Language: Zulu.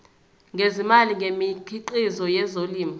ngezimali ngemikhiqizo yezolimo